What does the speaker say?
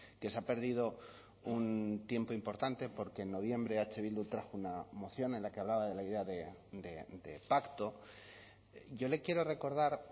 que se ha perdido un tiempo importante porque en noviembre eh bildu trajo una moción en la que hablaba de la idea de pacto yo le quiero recordar